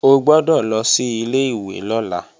O gbọ́dọ̀ lọ sí ilé-ìwé lọ́la!